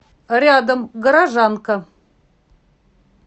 рядом горожанка